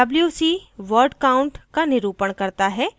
wc word count का निरूपण करता है